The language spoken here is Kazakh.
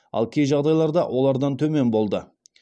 ал кей жағдайларда олардан төмен болды